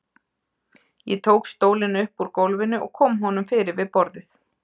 Ég tók stólinn upp úr gólfinu og kom honum fyrir við borðið.